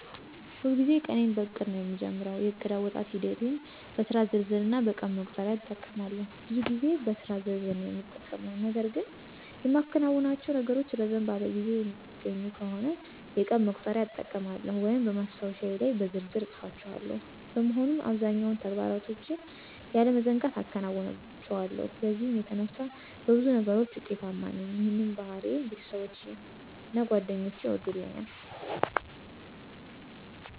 ሁልጊዜም ቀኔን በዕቅድ ነዉ የምጀምረው። የእቅድ አወጣጥ ሂደቴም በስራ ዝርዝር እና በቀን መቁጠሪያ እጠቀማለሁ። ብዙ ጊዜ በስራ ዝርዝር ነዉ የምጠቀመው .ነገር ግን የማከናውናቸው ነገሮች ረዘም ባለ ጊዜ የሚገኙ ከሆነ የቀን መቁጠሪያ እጠቀማለሁ ወይም በማስታወሻዬ ላይ በዝርዝር እፅፋቸዋለሁ። በመሆኑም አብዛኛዎቹን ተግባሮችን ያለመዘንጋት አከናውናቸዋለሁ በዚህም የተነሳ በብዙ ነገሮች ውጤታማ ነኝ ይህንንም ባህሪዬን ቤተሰቦቼና ጓደኞቼ ይወዱልኛል።